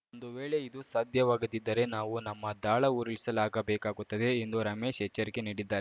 ಒಂದು ವೇಳೆ ಇದು ಸಾಧ್ಯವಾಗದಿದ್ದರೆ ನಾವು ನಮ್ಮ ದಾಳ ಉರುಳಿಸಲಾಗಬೇಕಾಗುತ್ತದೆ ಎಂದು ರಮೇಶ್‌ ಎಚ್ಚರಿಕೆ ನೀಡಿದ್ದಾ